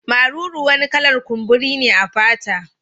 Maruru wani kala'r kumburi ne a fata.